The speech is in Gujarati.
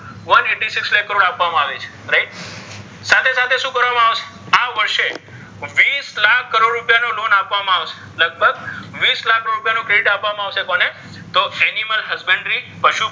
one eighty six lakh crore આપ્વામા આવિ છે right સાથે સાથે શુ કર્વામા આવિ છે આ વર્ષે વીસ લાખ કરોડ રુપિયા ની loan આપ્વામા આવ્શે લગ્ભગ વીસ લાખ્ કરોડ રુપિયા નુ credit આપ્વામા આવ્શે કોને તો animal suspendry પશુ,